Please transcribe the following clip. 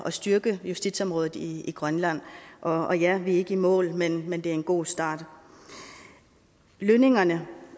at styrke justitsområdet i grønland og ja vi er ikke i mål men men det er en god start lønningerne